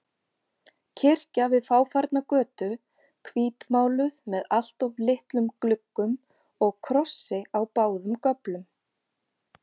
Kirkja við fáfarna götu, hvítmáluð með alltof litlum gluggum og krossi á báðum göflum.